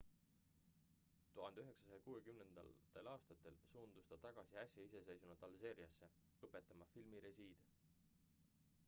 1960 aastatel suundus ta tagasi äsja iseseisvunud alžeeriasse õpetama filmirežiid